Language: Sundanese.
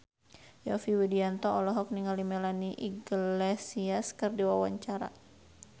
Yovie Widianto olohok ningali Melanie Iglesias keur diwawancara